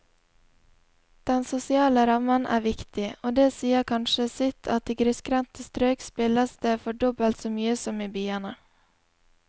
Den sosiale rammen er viktig, og det sier kanskje sitt at i grisgrendte strøk spilles det for dobbelt så mye som i byene.